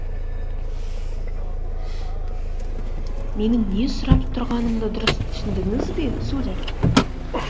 менің не сұрап тұрғанымды дұрыс түсіндіңіз бе сударь